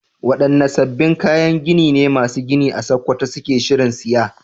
Wadanne sabbin kayan gini ne masu gini a Sakkwato suke shirin siya?